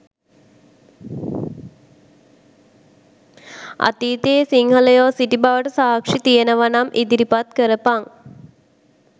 අතීතයේ සිංහයෝ සිටි බවට සක්ෂි තියෙනවනම් ඉදිරිපත් කරපන්